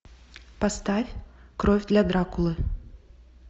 поставь кровь для дракулы